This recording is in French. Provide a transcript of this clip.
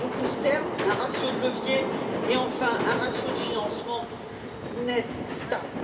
à court terme, un ratio de levier et, enfin, un ratio de financement net stable.